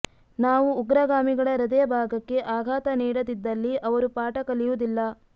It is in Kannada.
ನಾವು ಉಗ್ರಗಾಮಿಗಳ ಹೃದಯ ಭಾಗಕ್ಕೆ ಆಘಾತ ನೀಡದಿದ್ದಲ್ಲಿ ಅವರು ಪಾಠ ಕಲಿಯುವುದಿಲ್ಲ